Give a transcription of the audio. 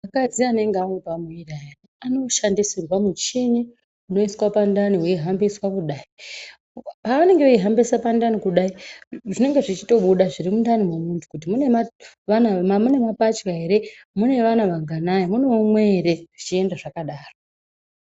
Akadzi anenge anepamuiri ayani anoshandisirwa muchini unoiswa pandani weihambiswa kudai. Paunenge weihambisa pandani kudai zvinenge zvechitobuda zviri mundani memundu kuti mune vana, mune mapachwa here, mune vana vanganai, mune umwe ere zvechienda zvakadaro.